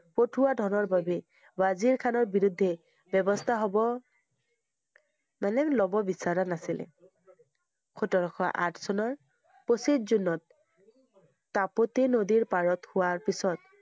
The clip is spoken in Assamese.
পঠোৱা ধনৰ বাবে, ৱজীৰ খানৰ বিৰুদ্ধে ব্যবস্থা হ'ব মানে লব বিচৰা নাছিলে। সোতৰশ আঠ চনৰ পঁচিছ জুনত তাপতি নদীৰ পাৰত হোৱাৰ পিছত